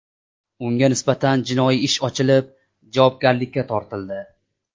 Unga nisbatan jinoyat ishi ochilib, javobgarlikka tortildi.